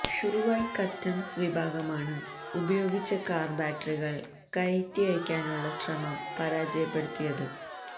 Shuwaikh customs വിഭാഗമാണ് ഉപയോഗിച്ച car ബാറ്ററികള് കയറ്റിഅയക്കാനുള്ള ശ്രമം പരാജയപ്പെടുത്തിയത്